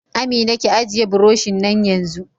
Amina, ki ajiye buroshin nan yanzu!